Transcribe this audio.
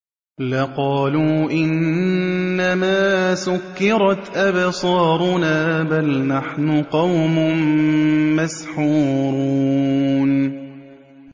لَقَالُوا إِنَّمَا سُكِّرَتْ أَبْصَارُنَا بَلْ نَحْنُ قَوْمٌ مَّسْحُورُونَ